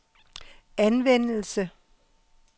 anvendelse